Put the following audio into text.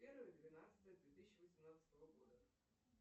первое двенадцатое две тысячи восемнадцатого года